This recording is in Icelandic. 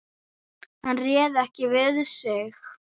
Hann réð ekki við sig.